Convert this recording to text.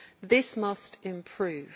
This must improve.